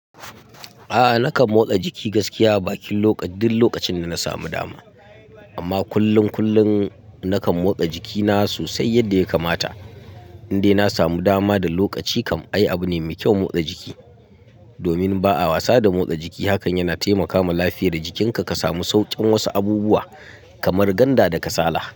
A'a nakan motsa jiki gaskiya, bakin lokaci duk lokacin da na samu dama. Amma kullun, kullun nakan motsa jikina sosai yadda ya kamata. Indai na samu dama da lokaci kam, ai abu ne mai kyau motsa jiki. Domin ba a wasa da motsa jiki. Hakan yana taimakama lafiyar jikinka ka samu saukin wasu abubuwa kamar ganda da kasala.